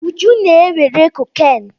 Buju na-ewere cocaine.